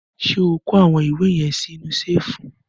Ṣé o kó àwọn ìwé yẹn sí inú ṣẹ́ẹ́fù?